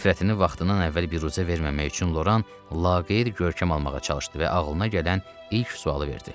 Nifrətini vaxtından əvvəl büruzə verməmək üçün Loran laqeyd görkəm almağa çalışdı və ağlına gələn ilk sualı verdi.